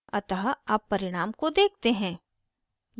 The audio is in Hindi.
अतः अब परिणाम को देखते हैं